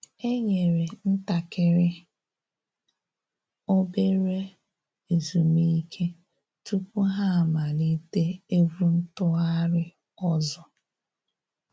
E nyere ntakịrị /obere ezumike tupu ha amalite egwu ntụgharị ọzọ